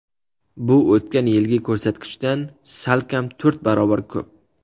Bu o‘tgan yilgi ko‘rsatkichdan salkam to‘rt barobar ko‘p.